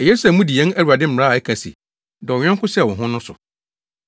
Eye sɛ mudi yɛn Awurade mmara a ɛka se, “Dɔ wo yɔnko sɛ wo ho” no so.